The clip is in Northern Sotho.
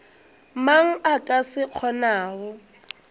mang a ka se kgonago